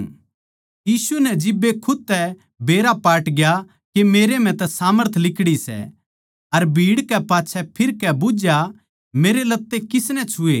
यीशु नै जिब्बे खुद तै बेरा पाटग्या के मेरै म्ह तै सामर्थ लिकड़ी सै अर भीड़ कै पाच्छै फिरकै बुझ्झया मेरे लत्ते किसनै छुए